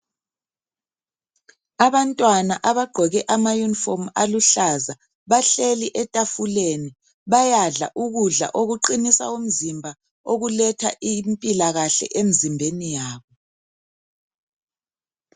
Abantwana abagqoke amayunifomu aluhlaza, bahleli etafuleni. Bayadla ukudla okuqinisa umzimba, okuletha impilakahle emzimbeni yabo.